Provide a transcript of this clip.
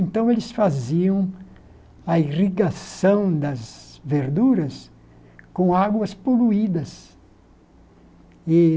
Então, eles faziam a irrigação das verduras com águas poluídas. E